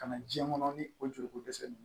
Ka na diɲɛ kɔnɔ ni o joliko dɛsɛ ye